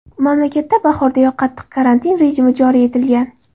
Mamlakatda bahordayoq qattiq karantin rejimi joriy etilgan.